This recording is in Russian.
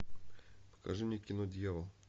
покажи мне кино дьявол